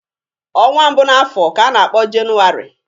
Ọnwa mbụ n'afọ ka a na-akpo Jenụwarị.